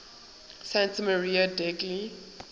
santa maria degli